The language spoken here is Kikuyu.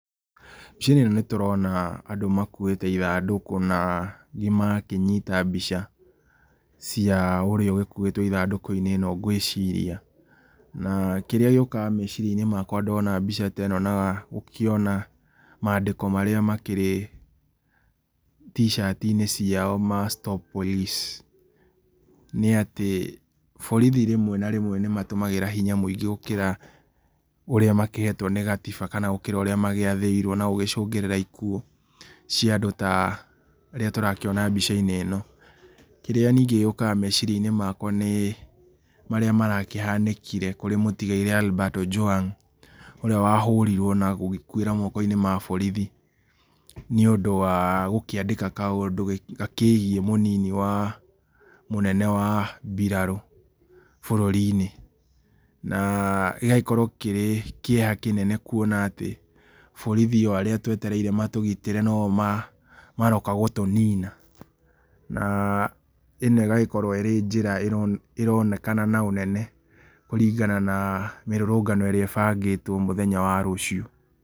Mbica-inĩ ĩno nĩ tũrona andũ makuĩte ithandũkũ, na angĩ magakĩnyita mbica cia ũrĩa ũgĩkuĩtwo ithandũkũ-inĩ ĩno ngwĩciria, na kĩrĩa gĩokaga meciria-inĩ makwa ndona mbica ta ĩno na gũkĩona mandĩko marĩa makĩrĩ t-cati-inĩ ciao ma stop police, nĩ atĩ borithi rĩmwe na rĩmwe nĩmatũmagĩra hinya mũingĩ gũkĩra ũrĩa mahekĩtwo nĩ gatiba, kana gũkĩra ũrĩa magĩathĩirwo na gũcũngĩrĩra ikuũ cia andũ ta arĩa tũrakĩona mbica-inĩ ĩno. Kĩrĩa ningĩ gĩũkaga meciria-inĩ makwa nĩ marĩa marakĩhanĩkire kũrĩ mũtigaire Albert Ojwang, ũrĩa wahũrirwo na gũgĩkuĩra moko-inĩ ma borithi, nĩ ũndũ wa gũkĩandĩka kaũndũ gakĩgiĩ mũnini wa mũnene wa biraro bũrũri-inĩ, na gĩgakorwo kĩrĩ kĩeha kĩnene, kuona atĩ borithi arĩa twetereire matũgitĩre no o maroka gũtũnina, na ĩno ĩgakorwo arĩ njĩra ĩronekana na ũnene kũringana na mĩrũrũngano ĩrĩa ĩbangĩtwo mũthenya wa rũciũ.